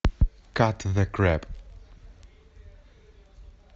кат зе креп